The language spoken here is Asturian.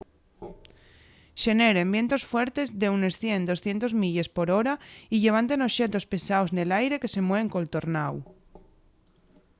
xeneren vientos fuertes d'unes 100-200 milles/hora y llevanten oxetos pesaos nel aire que se mueven col tornáu